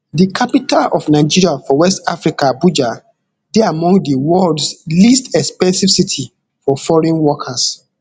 di capital of nigeria for west africa abuja dey among di worlds least expensive city for foreign workers